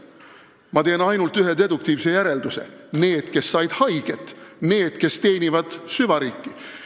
Ma teen ainult ühe deduktiivse järelduse: need, kes said haiget, need, kes teenivad süvariiki.